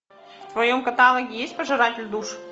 в твоем каталоге есть пожиратель душ